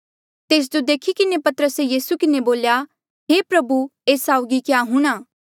तेस जो देखी किन्हें पतरसे यीसू किन्हें बोल्या हे प्रभु एस साउगी क्या हूंणा